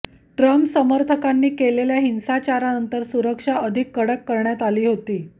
Trump समर्थकांनी केलेल्या हिंसाचारानंतर सुरक्षा अधिक कडक करण्यात आली होती